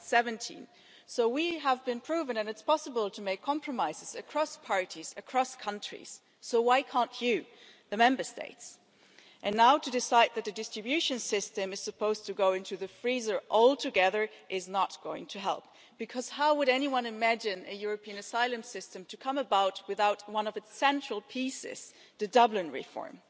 2017. So we have proved that it's possible to make compromises across parties, across countries so why can't you, the Member States? And now to decide that the distribution system is supposed to go into the freezer altogether is not going to help, because how would anyone imagine a European asylum system to come about without one of its central pieces, the Dublin reform?